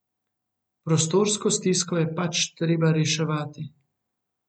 Prostorsko stisko je pač treba reševati.